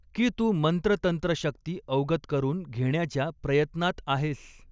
की तू मंत्रतंत्र शक्ती अवगत करून घेण्याच्या प्रयत्नांत आहेस